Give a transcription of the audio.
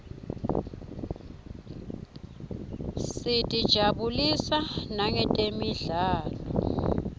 sitijabulisa nangetemidlalo